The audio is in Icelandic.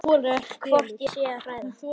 Hvort ég sé að hræða.